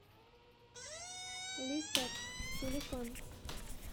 лисет телефон